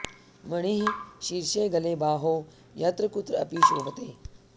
मणिः शीर्शे गले बाहौ यत्र कुत्र अपि शोभते